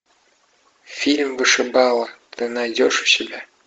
фильм вышибала ты найдешь у себя